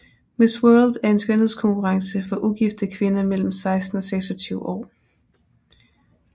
Miss World er en skønhedskonkurrence for ugifte kvinder mellem 16 og 26 år